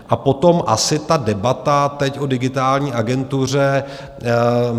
A potom asi ta debata teď o Digitální agentuře.